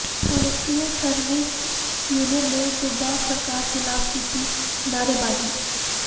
ministerial service union ਨੇ ਸੂਬਾ ਸਰਕਾਰ ਖਿਲਾਫ ਕੀਤੀ ਨਾਅਰੇਬਾਜ਼ੀ